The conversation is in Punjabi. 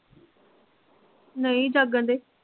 ਨਹੀਂ ਜਾਗਣ ਡਏ